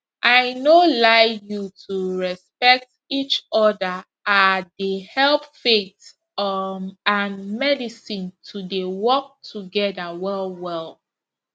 i no lie you to respect each other ah dey help faith um and medicine to dey work together well well